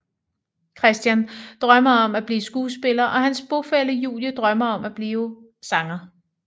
Christian drømmer om at blive skuespiller og hans bofælle Julie drømmer om at blive sanger